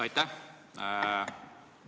Aitäh!